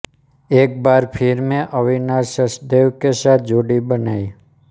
एक बार फिर में अविनाश सचदेव के साथ जोड़ी बनाई